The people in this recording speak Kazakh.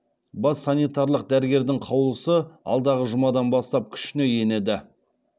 бас санитарлық дәрігердің қаулысы алдағы жұмадан бастап күшіне енеді